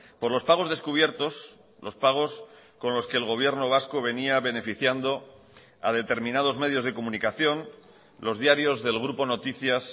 por los pagos descubiertos los pagos con los que el gobierno vasco venía beneficiando a determinados medios de comunicación los diarios del grupo noticias